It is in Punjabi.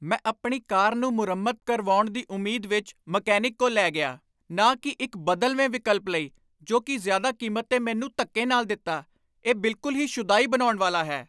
ਮੈਂ ਆਪਣੀ ਕਾਰ ਨੂੰ ਮੁਰੰਮਤ ਕਰਵਾਉਣ ਦੀ ਉਮੀਦ ਵਿੱਚ ਮਕੈਨਿਕ ਕੋਲ ਲੈ ਗਿਆ, ਨਾ ਕਿ ਇੱਕ ਬਦਲਵੇਂ ਵਿਕਲਪ ਲਈ ਜੋ ਕਿ ਜ਼ਿਆਦਾ ਕੀਮਤ 'ਤੇ ਮੈਨੂੰ ਧੱਕੇ ਨਾਲ ਦਿੱਤਾ! ਇਹ ਬਿਲਕੁੱਲ ਹੀ ਸ਼ੁਦਾਈ ਬਣਾਉਣ ਵਾਲਾ ਹੈ।